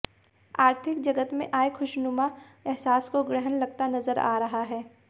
आर्थिक जगत में आए खुशनुमा एहसास को ग्रहण लगता नजर आ रहा है